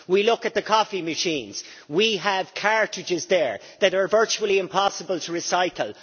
We look at the coffee machines we have cartridges there that are virtually impossible to recycle.